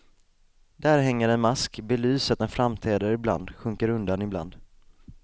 Där hänger en mask, belyst så att den framträder ibland, sjunker undan ibland.